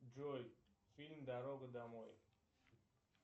джой фильм дорога домой